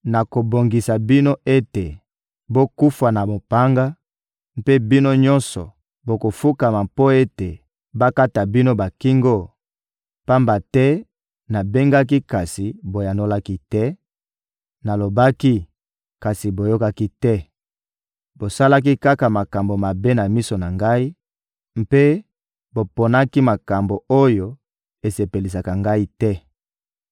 nakobongisa bino ete bokufa na mopanga, mpe bino nyonso bokofukama mpo ete bakata bino bakingo, pamba te nabengaki, kasi boyanolaki te; nalobaki, kasi boyokaki te: bosalaki kaka makambo mabe na miso na Ngai mpe boponaki makambo oyo esepelisaka Ngai te.»